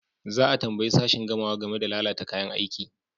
Za a tambayi sashin gamawa game da lalata kayan aiki.